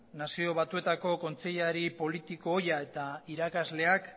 nazio batuetako kontseilari politiko ohia eta irakasleak